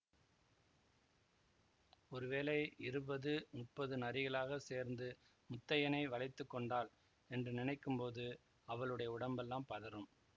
ஒரு வேளை இருபது முப்பது நரிகளாகச் சேர்ந்து முத்தையனை வளைத்துக் கொண்டால் என்று நினைக்கும் போது அவளுடைய உடம்பெல்லாம் பதறும்